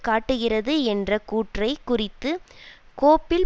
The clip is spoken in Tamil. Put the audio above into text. காட்டுகிறது என்ற கூற்றைக் குறித்து கோப்பில்